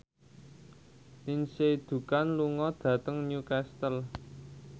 Lindsay Ducan lunga dhateng Newcastle